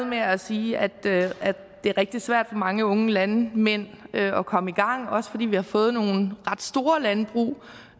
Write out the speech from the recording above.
med at sige at det er rigtig svært for mange unge landmænd at komme i gang også fordi vi har fået nogle ret store landbrug